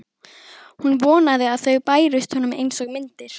Hún vonaði að þau bærust honum einsog myndir.